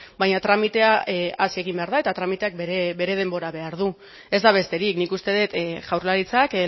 baina tramitea hasi egin behar da eta tramiteak bere denbora behar du ez da besterik nik uste dut jaurlaritzak